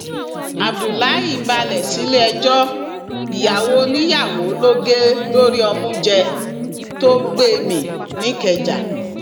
abdullahi balẹ sílẹẹjọ ìyàwó oníyàwó ló gé lórí ọmú jẹ tó gbé e mì nìkẹjà